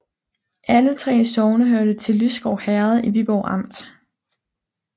Alle 3 sogne hørte til Lysgård Herred i Viborg Amt